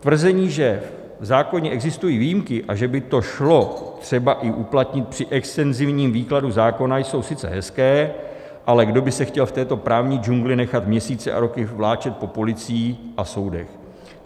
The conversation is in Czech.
Tvrzení, že v zákoně existují výjimky a že by to šlo třeba i uplatnit při extenzivním výkladu zákona, jsou sice hezká, ale kdo by se chtěl v této právní džungli nechat měsíce a roky vláčet po policiích a soudech?